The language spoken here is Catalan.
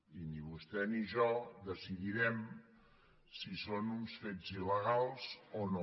i ni vostè ni jo decidirem si són uns fets il·legals o no